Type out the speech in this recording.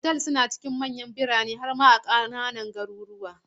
Otal suna cikin manyan birane har ma a cikin ƙananan garuruwa.